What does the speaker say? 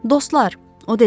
Dostlar, o dedi.